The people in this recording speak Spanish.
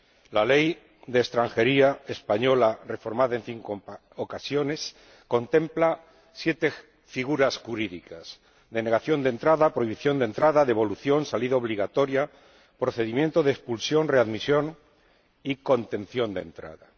La Ley de Extranjería española, reformada en cinco ocasiones, contempla siete figuras jurídicas denegación de entrada, prohibición de entrada, devolución, salida obligatoria, procedimiento de expulsión, readmisión y contención de entrada.